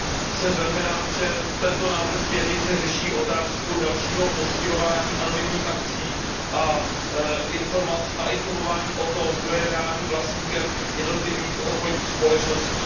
Jsem velmi rád, že tento návrh směrnice řeší otázku dalšího postihování anonymních akcií a informování o tom, kdo je reálným vlastníkem jednotlivých obchodních společností.